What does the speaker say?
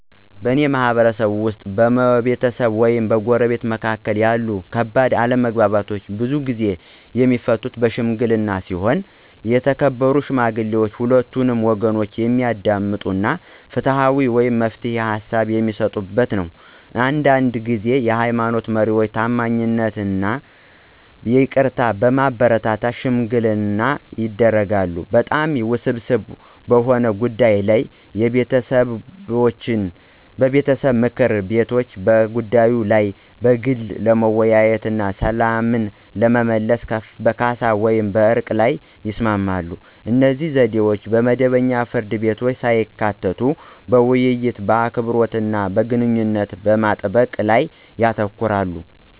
በእኔ ማህበረሰብ ውስጥ፣ በቤተሰብ ወይም በጎረቤቶች መካከል ያሉ ከባድ አለመግባባቶች ብዙውን ጊዜ የሚፈቱት በሺምግሊና ሲሆን የተከበሩ ሽማግሌዎች ሁለቱንም ወገኖች የሚያዳምጡ እና ፍትሃዊ የመፍትሄ ሃሳብ በሚሰጡበት ነው። አንዳንድ ጊዜ የሃይማኖት መሪዎች ታማኝነትን እና ይቅርታን በማበረታታት ሽምግልና ያደርጋሉ። በጣም ውስብስብ በሆኑ ጉዳዮች ላይ የቤተሰብ ምክር ቤቶች በጉዳዩ ላይ በግል ለመወያየት እና ሰላምን ለመመለስ በካሳ ወይም በዕርቅ ላይ ይስማማሉ. እነዚህ ዘዴዎች መደበኛ ፍርድ ቤቶችን ሳያካትቱ በውይይት፣ በአክብሮት እና ግንኙነቶችን በመጠበቅ ላይ ያተኩራሉ።